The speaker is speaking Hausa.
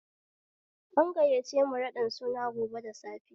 An gayyace mu raɗin suna gobe da safe